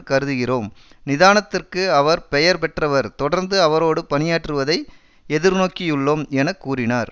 கருதுகிறோம் நிதானத்திற்கு அவர் பெயர் பெற்றவர் தொடர்ந்து அவரோடு பணியாற்றுவதை எதிர்நோக்கியுள்ளோம் எனக்கூறினார்